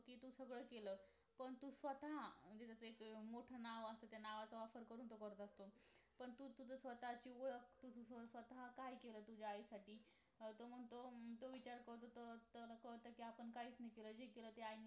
तू सगळं केलस पण तू स्वतः जस एक मोठं नाव तर त्या नावाचा वापर करून तो करत असतो पण तू स्वतःची ओळख तू तुज स्वतः काय केलं तुझ्या आईसाठी हम्म तो म्हणतो हम्म तो विचार करतो तर असं होत कि आपण काहीच नाही केलं जे केलं ते आईनी